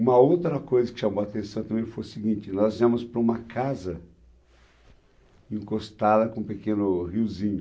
Uma outra coisa que chamou a atenção também foi o seguinte, nós íamos para uma casa encostada com um pequeno riozinho.